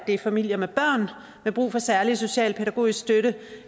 det er familier med børn med brug for særlig socialpædagogisk støtte